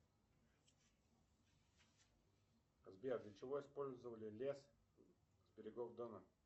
сбер для чего использовали лес с берегов дона